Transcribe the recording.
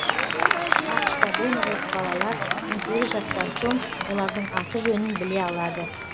ақш та донорлық балалар он сегіз жастан соң олардың аты жөнін біле алады